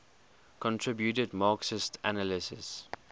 contributed marxist analyses